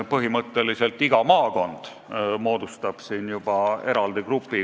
Põhimõtteliselt moodustab iga maakond eraldi grupi.